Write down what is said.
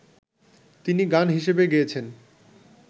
তিনি গান হিসেবে গেয়েছেন